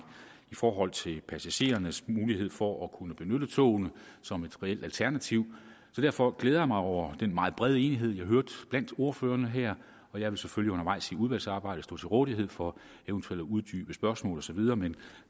i forhold til passagerernes mulighed for at kunne benytte togene som et reelt alternativ derfor glæder jeg mig over den meget brede enighed jeg hørte blandt ordførerne her og jeg vil selvfølgelig undervejs i udvalgsarbejdet stå til rådighed for eventuelle uddybende spørgsmål og så videre men